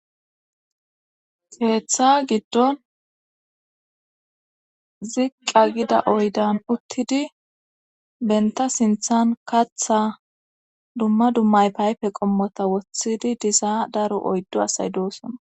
heeththa giddon ziqqa gida oydan uttidi benta sinthan katha dumma dummay payfe qommota wothidi diza daro oyddo asay doosona